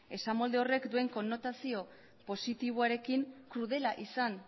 esamolde horrek duen konnotazio positiboarekin krudela izan